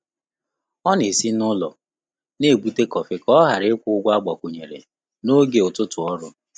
Ọ́ nà-ésí n’ụ́lọ́ nà-ébùté kọ́fị́ kà ọ́ ghàrà ị́kwụ́ ụ́gwọ́ ágbàkwùnyèrè n’ógè ụ́tụ́tụ́ ọ́rụ́.